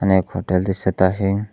आणि एक हॉटेल दिसत आहे.